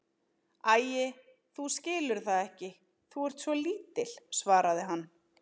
Æi, þú skilur það ekki, þú ert svo lítil, svaraði hann.